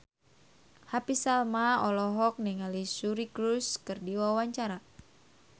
Happy Salma olohok ningali Suri Cruise keur diwawancara